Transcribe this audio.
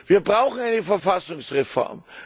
Wir brauchen eine Verfassungsreform.